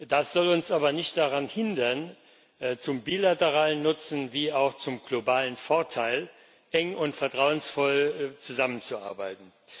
Das soll uns aber nicht daran hindern, zum bilateralen Nutzen wie auch zum globalen Vorteil eng und vertrauensvoll zusammenzuarbeiten.